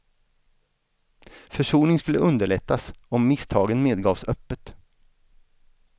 Försoning skulle underlättas om misstagen medgavs öppet.